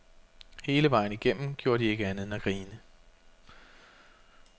Hele vejen igennem gjorde de ikke andet end at grine.